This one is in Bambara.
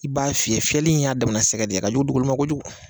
I b'a fiyɛ fiyɛnli in y'a damana sɛgɛ de ye ka dugu ma kojugu